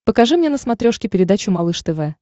покажи мне на смотрешке передачу малыш тв